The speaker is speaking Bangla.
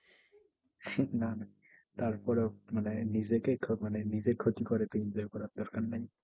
ঠিক না তারপরেও মানে নিজেকে মানে নিজের ক্ষতি করে enjoy করার দরকার নাই।